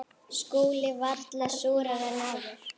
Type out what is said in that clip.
SKÚLI: Varla súrari en áður.